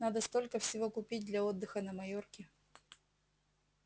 надо столько всего купить для отдыха на майорке